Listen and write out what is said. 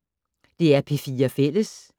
DR P4 Fælles